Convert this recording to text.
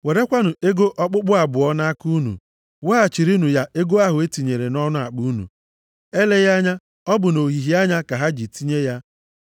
Werekwanụ ego okpukpu abụọ nʼaka unu. Weghachirinụ ya ego ahụ e tinyere nʼọnụ akpa unu, eleghị anya ọ bụ nʼohihie anya ka ha ji tinye ya.